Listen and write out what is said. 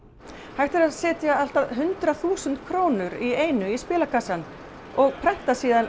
hægt er að setja allt að hundrað þúsund krónur í einu í spilakassa og prenta svo